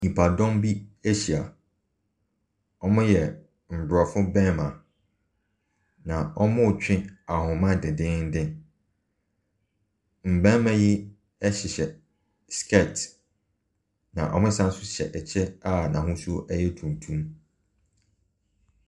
Nnipadɔm bi ahyia. Wɔyɛ aborɔfo mmarima, na wɔretwe ahoma dennennen. Mmarima yi hyehyɛ skirt, na wɔsan nso kyɛ kyɛ a n'ahosuo yɛ tuntum.